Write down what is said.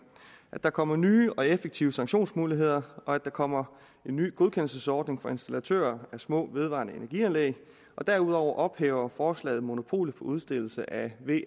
at der kommer nye og effektive sanktionsmuligheder og at der kommer en ny godkendelsesordning for installatører af små vedvarende energi anlæg og derudover ophæver forslaget monopolet på udstedelse af